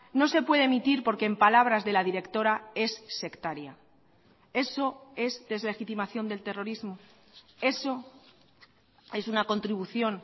no se puede emitir porque en palabras de la directora es sectaria eso es deslegitimación del terrorismo eso es una contribución